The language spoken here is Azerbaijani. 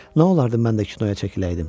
Nə olardı mən də kinoya çəkiləydim?